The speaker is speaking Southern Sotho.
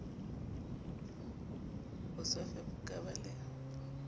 bosofe bo ka ba le